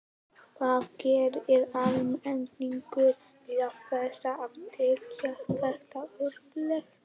Hvað gerir almenningur til þess að tryggja þetta öryggi?